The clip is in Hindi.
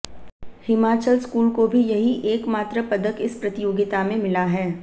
हिमाचल स्कूल को भी यही एकमात्र पदक इस प्रतियोगिता में मिला है